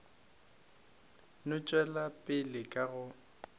no tšwela pele ka go